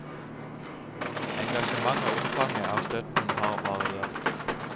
Engasjementet og omfanget av støtten har variert.